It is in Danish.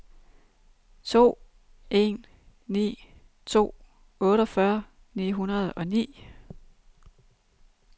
to en ni to otteogfyrre ni hundrede og ni